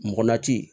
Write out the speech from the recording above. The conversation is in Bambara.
Mɔgɔ lati